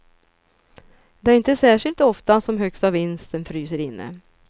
Det är inte särskilt ofta som högsta vinsten fryser inne.